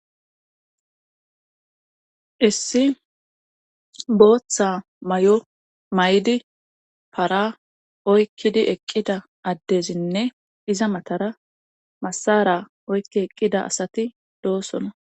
issi booththa may7o may7di para oykkidi eqqida addezinne iza matara masara oykki eqqida asati doosona